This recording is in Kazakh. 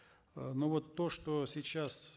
э ну вот то что сейчас